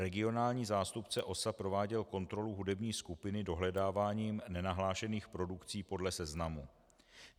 Regionální zástupce OSA prováděl kontrolu hudební skupiny dohledáváním nenahlášených produkcí podle seznamu.